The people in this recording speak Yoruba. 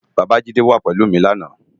Babajide wá pélú mi làná